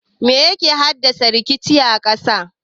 Me yake haddasa rikicin ƙasa?